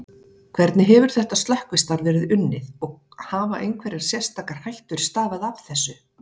Hvernig hefur þetta slökkvistarf verið unnið og hafa einhverjar sérstakar hættur stafað af þessu?